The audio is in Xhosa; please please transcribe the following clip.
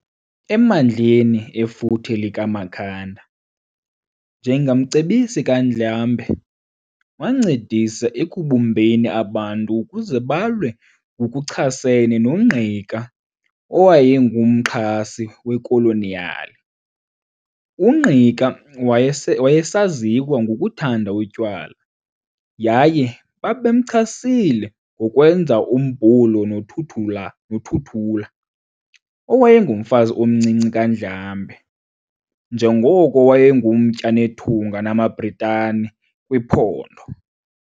Emandleni efuthe likaMakhanda, njengamcebisi kaNdlambe, wancedisa ekubumbeni abantu ukuze balwe ngokuchasene noNgqika owayengumxhasi wekoloniyali. UNgqika wayese wayesaziwa ngokuthanda utywala, yaye babemchasile ngokwenza umbulo noThuthula noThuthula owayengumfazi omncinci kaNdlambe, njengoko wayengumtya nethunga namaBritani kwiphondo.